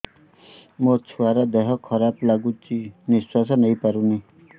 ମୋ ଛୁଆର ଦିହ ଖରାପ ଲାଗୁଚି ନିଃଶ୍ବାସ ନେଇ ପାରୁନି